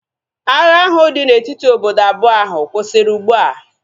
Agha ahu dị na etiti obodo abụọ ahu kwụsịrị ugbua